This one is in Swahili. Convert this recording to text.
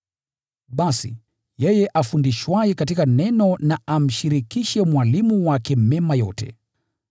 Basi, yeye afundishwaye katika neno na amshirikishe mwalimu wake mema yote.